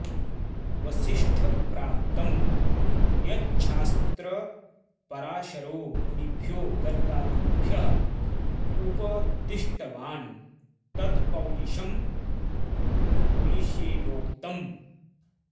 वसिष्ठप्राप्तं यच्छास्त्र पराशरो मुनिभ्यो गर्गादिभ्यः उपदिष्टवान् तत्पौलिशं पुलिशेनोक्तम्